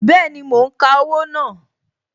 Bẹẹni, mo ń ka owó náà